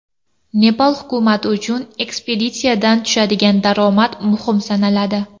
Nepal hukumati uchun ekspeditsiyadan tushadigan daromad muhim sanaladi.